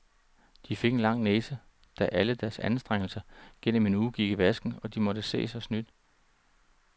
De fik en lang næse, da alle deres anstrengelser gennem en uge gik i vasken, og de måtte se sig snydt.